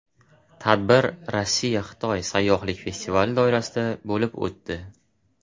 Tadbir RossiyaXitoy sayyohlik festivali doirasida bo‘lib o‘tdi.